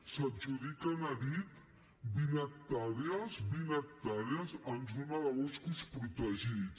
s’adjudiquen a dit vint hectàrees vint hectàrees en zona de boscos protegits